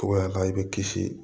Togoya min na i bɛ kisi